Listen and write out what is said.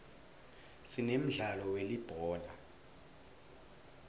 sinemdlalo welibhola